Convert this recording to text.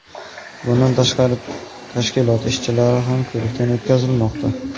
Bundan tashqari, tashkilot ishchilari ham ko‘rikdan o‘tkazilmoqda.